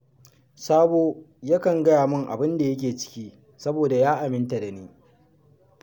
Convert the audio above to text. Sabo yakan gaya min abun da yake ciki saboda ya aminta da ni